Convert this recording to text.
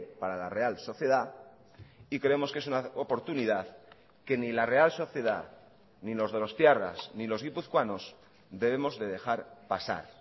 para la real sociedad y creemos que es una oportunidad que ni la real sociedad ni los donostiarras ni los guipuzcoanos debemos de dejar pasar